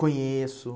Conheço.